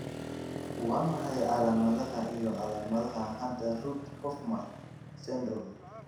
Waa maxay calaamadaha iyo calaamadaha Hunter Rudd Hoffmann syndrome?